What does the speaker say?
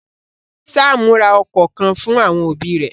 Sámú ra okọ̀ kan fún àwọn òbí rẹ̀.